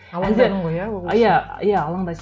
иә иә алаңдайсың